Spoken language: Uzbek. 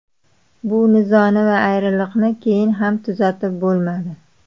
Bu nizoni va ayriliqni keyin ham tuzatib bo‘lmadi.